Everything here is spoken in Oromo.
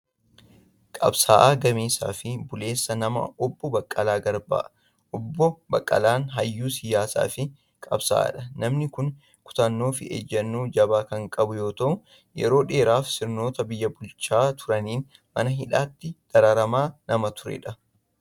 Qabsaa'aa gameessaa fi buleessa namaa Obbo Baqqalaa Garbaa. Obbo Baqqalaan hayyuu siyaasaa fi qabsaa'aadha. Namni kun kutannoo fi ejjennoo jabaa kan qabu yoo ta'u yeroo dheeraafis sirnoota biyya bulchaa turaniin mana hidhaatti dararamaa nama turedha.